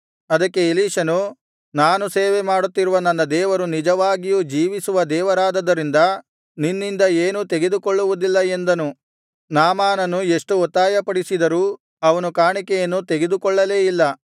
ಅದಕ್ಕೆ ಎಲೀಷನು ನಾನು ಸೇವೆಮಾಡುತ್ತಿರುವ ನನ್ನ ದೇವರು ನಿಜವಾಗಿಯೂ ಜೀವಿಸುವ ದೇವರಾದದರಿಂದ ನಿನ್ನಿಂದ ಏನೂ ತೆಗೆದುಕೊಳ್ಳುವುದಿಲ್ಲ ಎಂದನು ನಾಮಾನನು ಎಷ್ಟು ಒತ್ತಾಯಪಡಿಸಿದರೂ ಅವನು ಕಾಣಿಕೆಯನ್ನು ತೆಗೆದುಕೊಳ್ಳಲೇ ಇಲ್ಲ